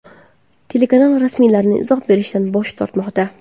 Telekanal rasmiylari izoh berishdan bosh tortmoqda.